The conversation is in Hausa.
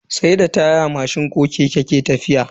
Sai da taya keke ko mashin ke tafiya.